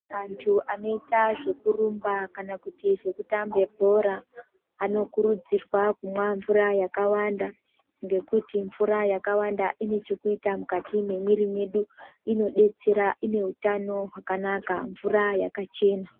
Antu anoita zvekurumba kana kuti zvekutambe bhora, anokurudzirwa kumwa mvura yakawanda, ngekuti mvura yakawanda ine chekuita mukati mwemwiri mwedu. Inodetsera, ine utano hwakanaka ,mvura yakachena.